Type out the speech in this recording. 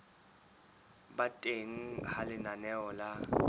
ba teng ha lenaneo la